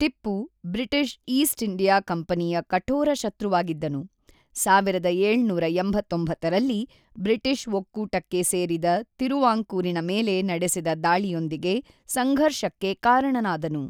Tipu British East India ಕಂಪನಿಯ ಕಠೋರ ಶತ್ರುವಾಗಿದ್ದನು, ೧೭೮೯ರಲ್ಲಿ ಬ್ರಿಟಿಷ್-ಒಕ್ಕೂಟಕ್ಕೆ ಸೇರಿದ ತಿರುವಾಂಕೂರಿನ ಮೇಲೆ ನಡೆಸಿದ ದಾಳಿಯೊಂದಿಗೆ ಸಂಘರ್ಷಕ್ಕೆ ಕಾರಣನಾದನು.